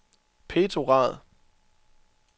Petrograd